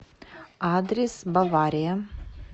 адрес бавария